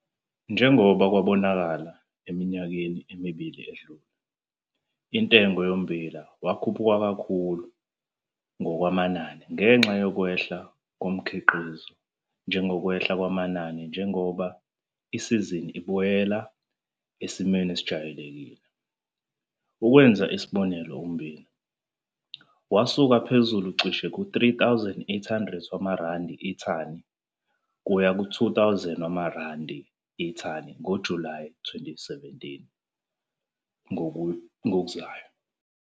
Njengoba kwabonakala eminyakeni emibili edlule, intengo yommbila wakhuphuka kakhulu ngokwamanani ngenxa yokwehla komkhiqizo njengokwehla kwamanani njengoba isizini ubuyela esimweni esejwayelekile. Ukwenza isibonelo ummbila, wasuka phezulu cishe ku-R3 800 ithani waya ku-R2 000 ithani ngoJulayi 2017 ngokuzayo.